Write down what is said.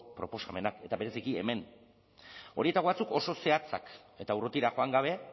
proposamenak eta bereziki hemen horietako batzuk oso zehatzak eta urrutira joan gabe